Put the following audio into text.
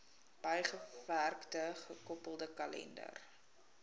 bygewerkte gekoppelde kalender